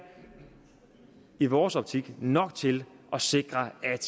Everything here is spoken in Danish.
i vores optik nok til at sikre at